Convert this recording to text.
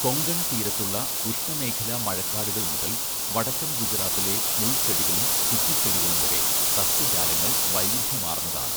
കൊങ്കൺ തീരത്തുള്ള ഉഷ്ണമേഖലാ മഴക്കാടുകൾ മുതൽ വടക്കൻ ഗുജറാത്തിലെ മുൾചെടികളും കുറ്റിച്ചെടികളും വരെ സസ്യജാലങ്ങൾ വൈവിധ്യമാർന്നതാണ്.